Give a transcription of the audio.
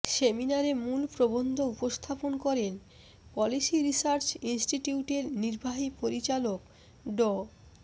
সেমিনারে মূল প্রবন্ধ উপস্থাপন করেন পলিসি রিসার্চ ইনস্টিটিউটের নির্বাহী পরিচালক ড